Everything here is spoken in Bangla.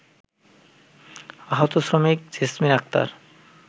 আহত শ্রমিক জেসমিন আক্তার